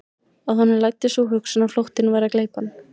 Að honum læddist sú hugsun að flóttinn væri að gleypa hann.